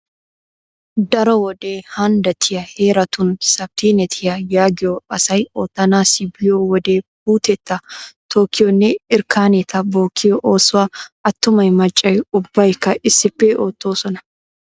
Daro wode handdattiya heeratun sapttineetiya yaagiyogaa asay oottanaassi biyo wode puuteta tokkiyonne irkkaneta bookkiyo oosuwa attumay maccay ubbaykka issippe oottoosona.